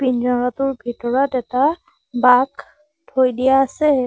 পিঞ্জিৰাটোৰ ভিতৰত এটা বাঘ থৈ দিয়া আছে।